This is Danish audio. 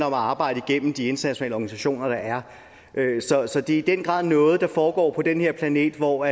om at arbejde igennem de internationale organisationer der er så det er i den grad noget der foregår på den her planet hvor